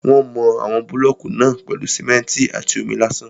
Wọ́n mọ àwọn búlọ̀kù náà pèlú simẹ́ntì àti omi lásán.